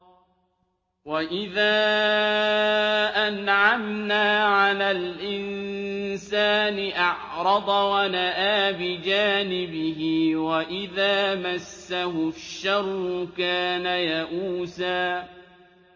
وَإِذَا أَنْعَمْنَا عَلَى الْإِنسَانِ أَعْرَضَ وَنَأَىٰ بِجَانِبِهِ ۖ وَإِذَا مَسَّهُ الشَّرُّ كَانَ يَئُوسًا